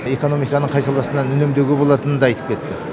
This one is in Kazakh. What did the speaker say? экономиканың қай саласынан үнемдеуге болатынын да айтып кетті